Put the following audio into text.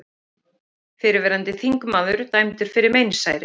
Fyrrverandi þingmaður dæmdur fyrir meinsæri